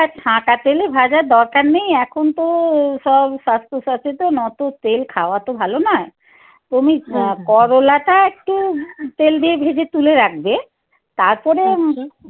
ছাঁকা তেলে ভাজার দরকার নেই। এখন তো সব স্বাস্থ্য সচেতন অতো তেল খাওয়া তো ভালো নয়। তুমি করোলাটা একটু তেল দিয়ে ভেজে তুলে রাখবে তারপরে